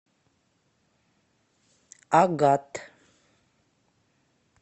агат